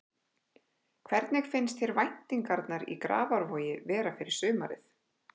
Hvernig finnst þér væntingarnar í Grafarvogi vera fyrir sumarið?